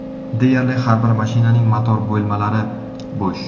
Deyarli har bir mashinaning motor bo‘lmalari bo‘sh.